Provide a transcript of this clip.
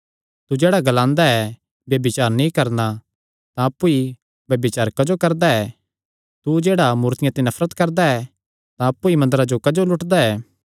तू जेह्ड़ा ग्लांदा ऐ ब्यभिचार नीं करणा तां अप्पु ई ब्यभिचार क्जो करदा ऐ तू जेह्ड़ा मूर्तियां ते नफरत करदा ऐ तां अप्पु ई मंदरा जो क्जो लूटदा ऐ